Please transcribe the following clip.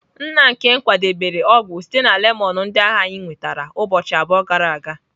Nna nkem kwadebere ọgwụ sitere na lemon ndị ahụ anyị nwetara ụbọchị abụọ gara aga.